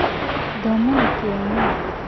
Thoma na Kĩyo Ũmũthĩ